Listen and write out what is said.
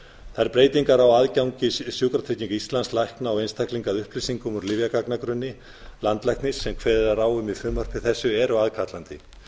þær breytingar á aðgengi sjúkratrygginga íslands lækna og einstaklinga að upplýsingum úr lyfjagagnagrunni landlæknis sem kveðið er á um í frumvarpi þessu eru aðkallandi